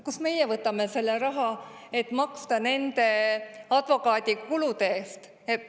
Kust me võtame selle raha, et maksta nende advokaadikulude eest?